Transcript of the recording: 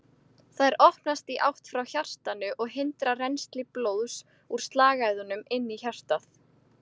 Þær opnast í átt frá hjartanu og hindra rennsli blóðs úr slagæðunum inn í hjartað.